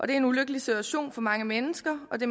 det er en ulykkelig situation for mange mennesker og det